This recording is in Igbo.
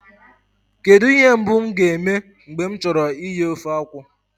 Kedụ ihe mbụ m ga-eme mgbe m chọrọ ighe ofe akwụ